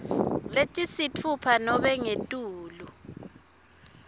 letisitfupha nobe ngetulu